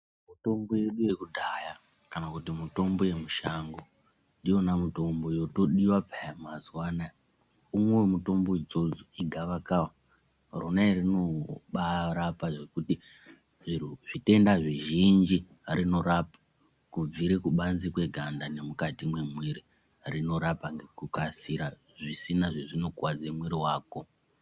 Mitombo yedu yekudhaya kana mutombo yemushango ndiyona mitombo yotodiwa peya mazuwanaya. Umwe wemitombo idzodzo igavakava. Rona iri rinongobarapa zvirwere zvekuti, zvitenda zvizhinji rinorapa kubvire kubanze kweganda nemukati mwemwiri rinorapa nekukasira zvisina zvezvinokwadze mwiri wako.